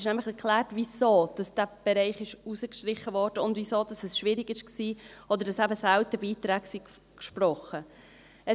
Dort ist nämlich erklärt, wieso dieser Bereich herausgestrichen wurde, und wieso es schwierig war, oder dass eben selten Beiträge gesprochen wurden.